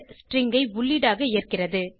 string ஐ உள்ளீடாக ஏற்கிறது